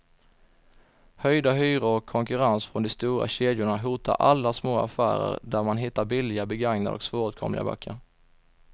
Höjda hyror och konkurrens från de stora kedjorna hotar alla små affärer där man hittar billiga, begagnade och svåråtkomliga böcker.